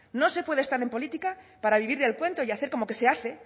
no se puede estar en política para vivir del cuento y hacer como que se hace